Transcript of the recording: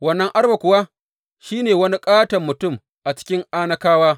Wannan Arba kuwa shi ne wani katon mutum a cikin Anakawa.